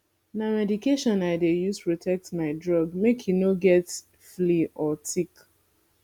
na medication i dey use protect my dog make e no get flea or tick